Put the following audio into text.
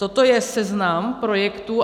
Toto je seznam projektů.